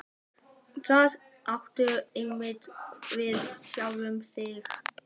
Það áttu einungis við sjálfan þig.